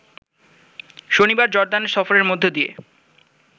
শনিবার জর্দান সফরের মধ্য দিয়ে